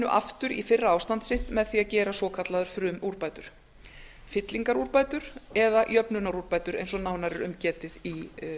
aftur í fyrra ástand sitt með því að gera svokallaðar frumúrbætur fyllingarúrbætur eða jöfnunarúrbætur eins og nánar er um getið í